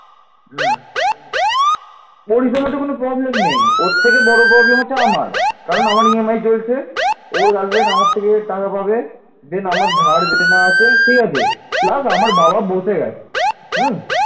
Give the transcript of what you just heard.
পাল সাম্রাজ্যের রাজাগণ ছিলেন বৌদ্ধ ধর্মের অনুসারী